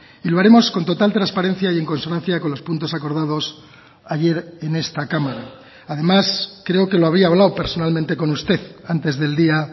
y lo haremos con total transparencia y en consonancia con los puntos acordados ayer en esta cámara además creo que lo había hablado personalmente con usted antes del día